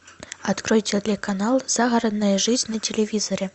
открой телеканал загородная жизнь на телевизоре